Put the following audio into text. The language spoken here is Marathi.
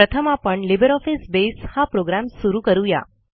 प्रथम आपण लिब्रिऑफिस बसे हा प्रोग्रॅम सुरू करू या